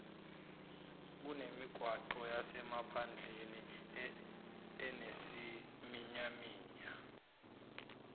kunemigwaqo yasemaphandleni enesiminyaminya